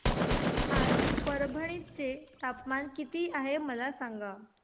आज परभणी चे तापमान किती आहे मला सांगा